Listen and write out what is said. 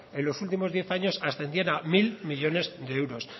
en los últimos diez años ascendían a mil millónes de euros